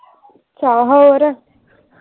ਚਲ ਹੋਰ।